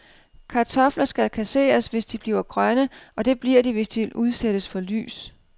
Kartofler skal kasseres, hvis de bliver grønne, og det bliver de, hvis de udsættes for lys.